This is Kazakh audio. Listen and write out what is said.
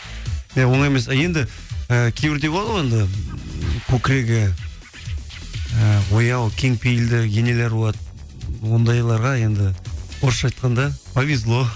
иә оңай емес ал енді і кейбіреуде болады ғой енді көкірегі ііі ояу кеңпейілді енелер болады ондайларға енді орысша айтқанда повезло